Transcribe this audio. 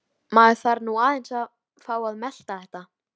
Maður þarf nú aðeins að fá að melta þetta.